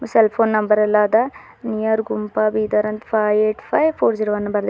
cell phone number ಎಲ್ಲಾ ಅದ near Gumpa Bidar ಅಂತ five eight five four zero one --